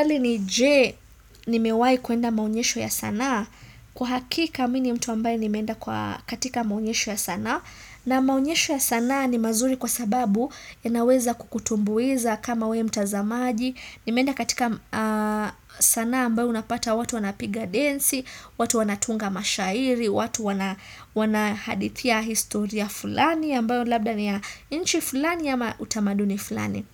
Swali ni je nimewahi kuenda maonyesho ya sanaa, kwa hakika mimi ni mtu ambaye nimeenda kwa katika maonyesho ya sanaa, na maonyesho ya sanaa ni mazuri kwa sababu yanaweza kukutumbuiza kama wewe mtazamaji, nimeenda katika sanaa ambayo unapata watu wanapiga densi, watu wanatunga mashairi, watu wanahadithia historia fulani ambayo labda ni ya nchi fulani ama utamaduni fulani.